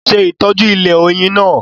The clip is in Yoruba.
Se itoju ilẹ̀ oyin naa